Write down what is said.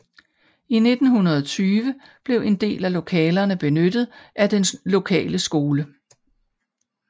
I 1920 blev en del af lokalerne benyttet af den lokale skole